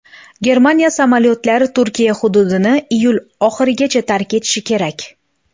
Germaniya samolyotlari Turkiya hududini iyul oxirigacha tark etishi kerak.